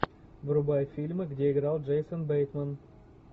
врубай фильмы где играл джейсон бейтман